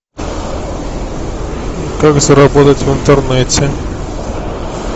как заработать в интернете